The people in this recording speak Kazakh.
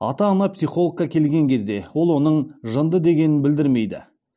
ата ана психологқа келген кезде ол оның жынды дегенін білдірмейді